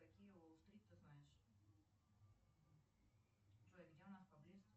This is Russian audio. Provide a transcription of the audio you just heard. какие уолл стрит ты знаешь джой где у нас поблизости